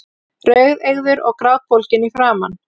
Rauðeygður og grátbólginn í framan.